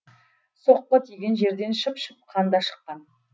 соққы тиген жерден шып шып қан да шыққан